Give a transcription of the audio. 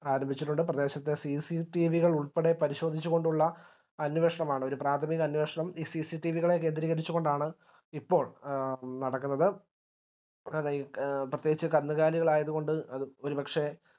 ആരംഭിച്ചിട്ടുണ്ട് പ്രദേശത്തെ CCTV കളുൾപ്പെടെ പരിശോധിച്ചുകൊണ്ടുള്ള ഒരു അന്വേഷണമാണ് ഒരു പ്രാഥമിക അന്വേഷണം ഈ CCTV കളെ കേന്ദ്രികരിച്ചുകൊണ്ടാണ് ഇപ്പോൾ നടക്കുന്നത് പിന്നെ പ്രേത്യേകിച് കന്നുകാലികളായതുകൊണ്ട് അത് ഒരുപക്ഷെ